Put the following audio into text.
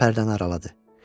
Pərdəni araladı.